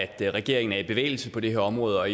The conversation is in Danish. at regeringen er i bevægelse på det her område og